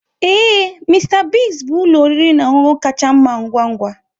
Ee, Mister Biggs bụ ụlọ oriri na ọṅụṅụ kacha mma ngwa ngwa.